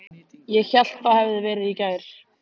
Ég hélt það hefði verið í gær.